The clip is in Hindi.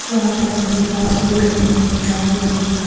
यहाँ पर मुझे बहुत सारी बिल्डिंगे दिखाई दे रही है।